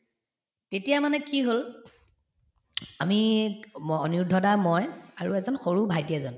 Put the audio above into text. তেতিয়া মানে কি হল আমি অনিৰুদ্ধ দা মই আৰু এজন সৰু ভাইটি এজন